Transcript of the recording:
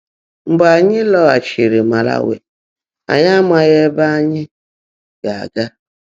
Mgbe ányị́ lọ́gháchiírí Màlawị̀, ányị́ ámághị́ ébè ányị́ gá-ágá.